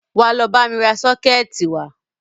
Wá lọ bámi ra sọ́kẹ̀tì wá!